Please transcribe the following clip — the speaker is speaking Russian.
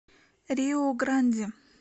риу гранди